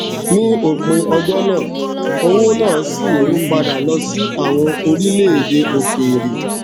ní òpin ọjọ náà owó náà ṣì ń padà lọ sí àwọn orílèèdè òkèèrè